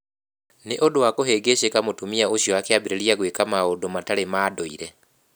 Nĩ ũndũ wa kũhĩngĩcĩka mũtumia ũcio akĩambĩrĩria gwĩka maũndũ mataarĩ ma ndũire.